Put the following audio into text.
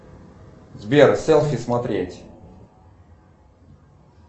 сбер селфи смотреть